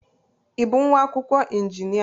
Ị bụ nwa akwụkwọ injinia?